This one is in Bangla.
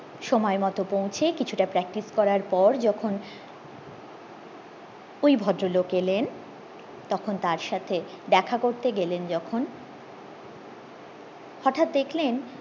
সময় মতো পৌঁছে কিছুটা practice করার পর যখন ওই ভদ্রলোক এলেন তখন তার সাথে দেখা করতে গেলেন যখন হটাৎ দেখলেন